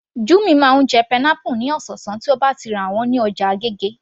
Jummy máa ń jẹ pineapple ní ọ̀sọ̀ọ̀sán tí ó bá ti rà wọ́n ní ọjà agége